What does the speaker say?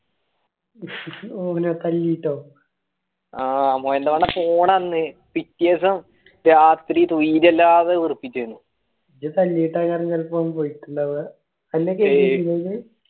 തല്ലീട്ടോ ആ മോയെന്തെടെ പോടാ അവിടുന്ന് പിറ്റേസം രാത്രി തോയിരല്ലാതെ വേർപ്പിക്കേണ്